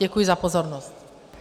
Děkuji za pozornost.